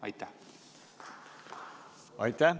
Aitäh!